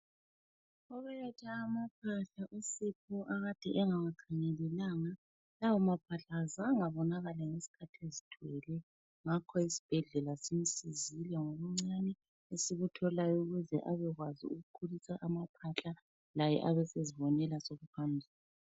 Ubelethe amaphahla uSipho akade engawa khangelelanga lawa maphahla kazange abonakale ngesikhathi ezithwele ngakho isibhedlela simsizile ngokuncane esikutholayo ukuze abekwazi ukukhulisa amaphahla laye abe sezibonela sokuphambili.